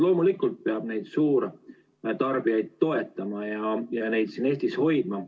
Loomulikult peab suurtarbijaid toetama ja neid siin Eestis hoidma.